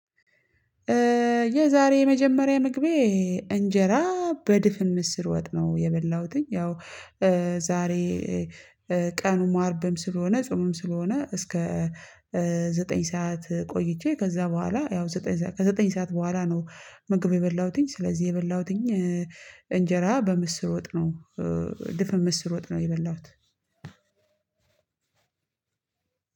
የዛሬ የመጀመሪያ ምግቤ እንጀራ በድፍን ምስር ወጥነው የበላሁተኝ ያው ዛሬ ቀኑም አርብም ስለሆነ ጾምም ስለሆነ እስከ ዘጠኝ ሰዓት ቆይቼ ከዛ በኋላ ያው ዘጠኝ ከዘጠኝ ሰዓት በኋላ ነው ምግብ የበላሁተኝ። ስለዚህ የበላሁተኝ እንጀራ በምስር ወጥ ነው ድፍን ምስር ወጥ ነው። የበላሁት